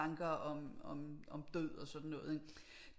Tanker om død og sådan noget ikke